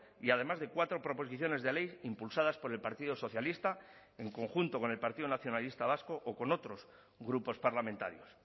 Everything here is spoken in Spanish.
y además de cuatro proposiciones de ley impulsadas por el partido socialista en conjunto con el partido nacionalista vasco o con otros grupos parlamentarios